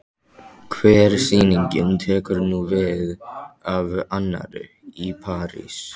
Hver sýningin tekur nú við af annarri- Í París